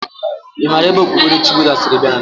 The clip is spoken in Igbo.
I mara ebe okpukperechi Buddha siri bia Naijiria?